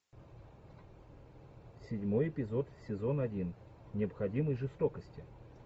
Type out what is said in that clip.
седьмой эпизод сезон один необходимой жестокости